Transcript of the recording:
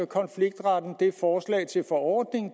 konfliktretten